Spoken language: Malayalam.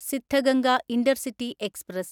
Siddhaganga intercity express